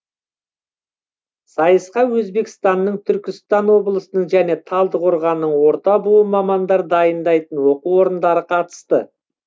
сайысқа өзбекстанның түркістан облысының және талдықорғанның орта буын мамандар дайындайтын оқу орындары қатысты